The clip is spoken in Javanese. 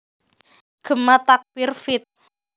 Gema Takbir feat